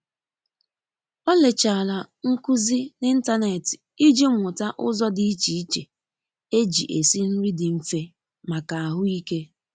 olechara nkụzi na intanetị iji muta ụzọ di iche iche eji esi nri di mfe maka ahu ike.